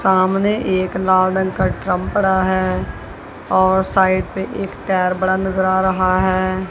सामने एक लाल रंग का ड्रम पड़ा है और साइड पे एक टायर बड़ा नजर आ रहा है।